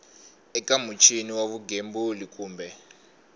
eka muchini wa vugembuli kumbe